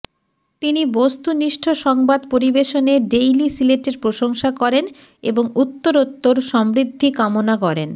তিনি বস্তুনিষ্ট সংবাদ পরিবেশনে ডেইলি সিলেটের প্রশংসা করেন এবং উত্তোরোত্তর সমৃদ্ধি কামনা করেন